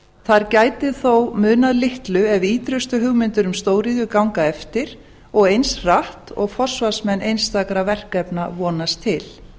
þar gæti þó munað litlu ef ýtrustu hugmyndir um stóriðju ganga eftir og eins hratt og forsvarsmenn einstakra verkefna vonast til